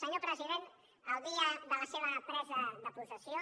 senyor president el dia de la seva presa de possessió